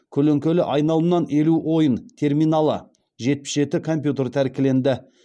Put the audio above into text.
көлеңкелі айналымнан елу ойын терминалы жетпіс жеті компьютер тәркіленді